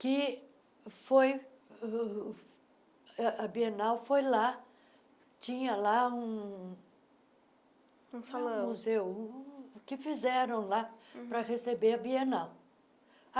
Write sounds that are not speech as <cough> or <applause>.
que foi uh uh, a Bienal foi lá, tinha lá um <unintelligible> um museu, que fizeram lá para receber a Bienal.